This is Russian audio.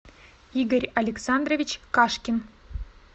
игорь александрович кашкин